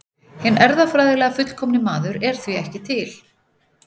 Hinn erfðafræðilega fullkomni maður er því ekki til.